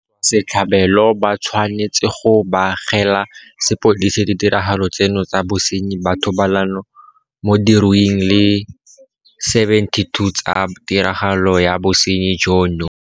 Batswasetlhabelo ba tshwanetse go begela sepodisi ditiragalo tseno tsa bosenyi ba thobalano mo diruing di le 72 tsa tiragalo ya bosenyi jono.